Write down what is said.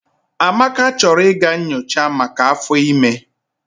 Amaka chọrọ ịga nyochaa maka áfọ́ ịme.